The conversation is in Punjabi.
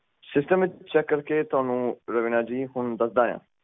ਸਿਸਟਮ ਵਿੱਚ ਚੈੱਕ ਕਰਕੇ ਤੁਹਾਨੂੰ ਰਵੀਨਾ ਜੀ ਹੁਣ ਦੱਸਦਾ ਆ